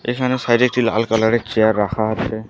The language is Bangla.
এখানে সাইড -এ একটি লাল কালার -এর চেয়ার রাখা আছে।